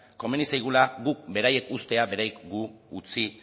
komeni zaigula guk beraiek uztea beraiek gu utzi